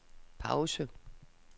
pause